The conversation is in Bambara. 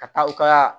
Ka taa u ka